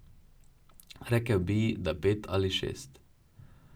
Rekel bi, da pet ali šest.